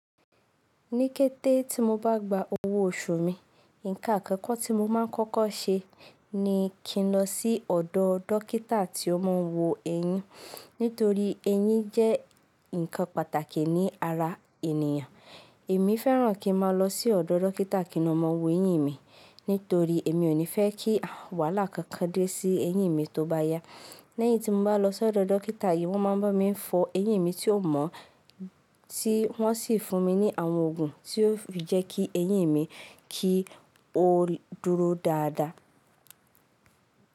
Ní kété tí mo bá gba owó oṣù mi, ǹkan àkọ́kọ́ tí mo máa ń kọ́kọ́ ṣe ni kí n lọ sí ọ̀dọ̀ dókítà tí ó máa ń wo eyín. Nítorí eyín jẹ́ ǹkan pàtàkì ní ara ènìyàn. Èmi fẹ́ràn kí n máa lọ sí ọ̀dọ̀ dókítà kí ó máa wo eyín mi, nítorí èmi ò ní fẹ́ kí wàhálà kankan dé sí eyín mi tó bá yá. Lẹ́yìn tí mo bá lọ sí ọ̀dọ̀ dókítà yìí, wọ́n máa ń bá mi fọ eyín mi tí ò mọ́, tí wọ́n sì fún mi ní àwọn òògùn tí ó fi jẹ́ kí eyín mi kí ó dúró dáadáa.